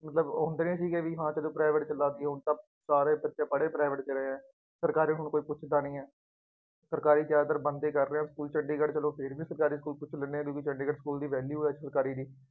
ਮਤਲਬ ਉਹ private ਚ ਲੱਗ ਜਾਉ, ਹੁਣ ਤਾਂ ਸਾਰੇ ਬੱਚੇ ਪੜ੍ਹ ਹੀ private ਚ ਰਹੇ ਹੈ। ਸਰਕਾਰੀ ਹੁਣ ਕੋਈ ਪੁੱਛਦਾ ਨਹੀਂ ਹੈ। ਸਰਕਾਰੀ ਜ਼ਿਆਦਾਤਰ ਬੰਦ ਹੀ ਕਰ ਰਹੇ ਹੈ ਸਕੂਲ, ਚੰਡੀਗੜ੍ਹ ਚ ਚੱਲੋ ਫੇਰ ਵੀ ਸਰਕਾਰੀ ਸਕੂਲ ਖੁੱਲ੍ਹੇ ਨੇ, ਕਿਉਂਕਿ ਚੰਡੀਗੜ੍ਹ ਸਕੂਲ ਦੀ value ਹੈ ਇੱਥੇ ਸਰਕਾਰੀ ਦੀ